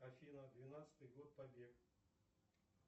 афина двенадцатый год побег